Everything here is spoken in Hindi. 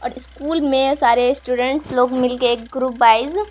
और इस स्कुल में सारे स्टूडेंट्स लोग मिल के एक ग्रुप वाइज --